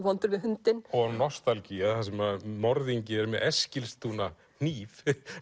vondur við hundinn nostalgía þar sem morðingi er með Eskilstuna hníf